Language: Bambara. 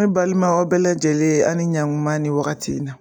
Ne balimaw aw bɛɛ lajɛlen a' ni ɲankuma ni wagati in na.